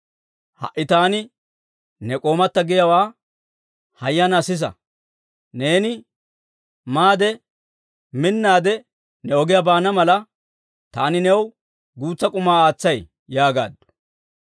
Ha"i taani ne k'oomatta giyaawaa hayyanaa sisa; neeni maade, minaadde ne ogiyaa baana mala, taani new guutsa k'uma aatsay» yaagaaddu.